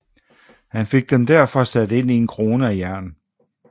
Han fik derfor sat dem ind i en krone af jern